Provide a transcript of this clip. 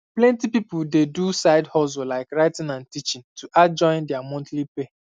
plenty people dey do side hustle like writing or teaching to add join their monthly pay